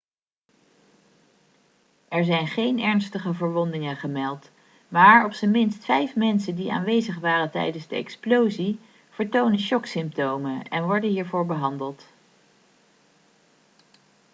er zijn geen ernstige verwondingen gemeld maar op zijn minst vijf mensen die aanwezig waren tijdens de explosie vertonen shocksymptomen en worden hiervoor behandeld